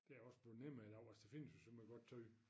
Det også blevet nemmere i dag altså der findes jo så meget godt tøj